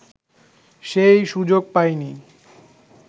সেই সুযোগ পায়নি